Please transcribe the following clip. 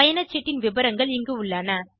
பயணச் சீட்டின் விபரங்கள் இங்கு உள்ளன